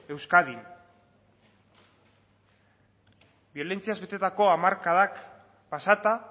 euskadin biolentziaz betetako hamarkadak pasata